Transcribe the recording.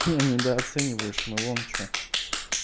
ты недооцениваешь мы вон что